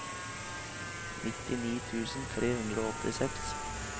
nittini tusen tre hundre og åttiseks